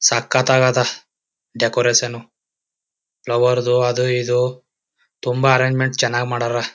ಸಕತ್ ಆಗದ decoration flower ದು ಅದು ಇದು ತುಂಬಾ ಅರ್ರಜ್ಮೆಂಟ್ ಚನ್ನಾಗ್ ಮಾಡವ್ರ.